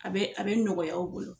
A be a be nɔgɔya u bolo